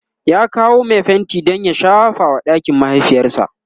ya kawo Mai fenti Dan ya shafa wa ɗakin mahaifiyarsa